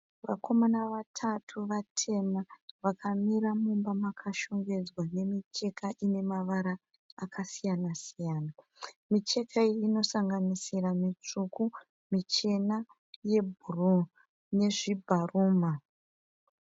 Vakomana vatatu, vatema vakamira mumba makashongedzwa nemicheka ine mavara akasiyana - siyana. Micheka iyi inosanganisira mitsvuku, michena yebhuruu nezvibharumha.